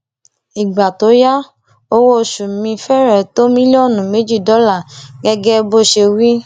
ìgbà tó yá owóoṣù mi fẹrẹ tó mílíọnù méjì dọlà gẹgẹ bó ṣe wí